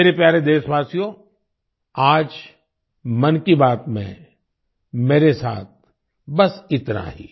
मेरे प्यारे देशवासियो आज मन की बात में मेरे साथ बस इतना ही